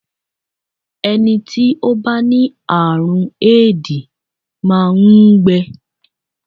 Ẹni tí ó bá ní àrùn Éèdì máa ń gbẹ